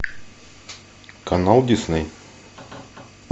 канал дисней